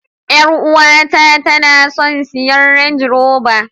Yar uwata tana son siyan range rober.